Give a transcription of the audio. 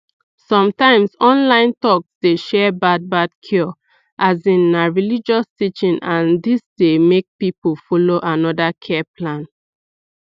sometimes online talks dey share bad bad cure as in na religious teaching and dis dey make people follow another care plan